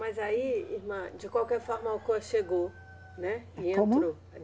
Mas aí, irmã, de qualquer forma a Alcoa chegou, né? E entrou